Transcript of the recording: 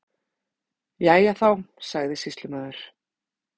Jæja, þá sagði sýslumaður.